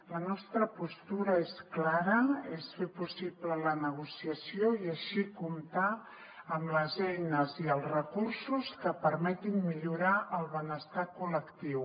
la nostra postura és clara és fer possible la negociació i així comptar amb les eines i els recursos que permetin millorar el benestar col·lectiu